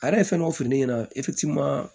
A yɛrɛ ye fɛn dɔ fɔ ne ɲɛna